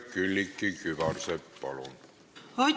Külliki Kübarsepp, palun!